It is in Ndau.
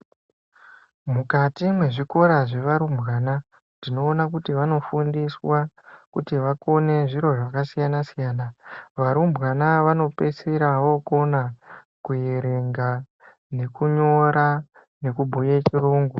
Mukati mwezvikora zvevarumbwana ,tinoona kuti vanofundiswa, kuti vakone zviro zvakasiyana-siyana. Varumbwana vanopeisira vookona kuerenga, nekunyora nekubhuye chirungu.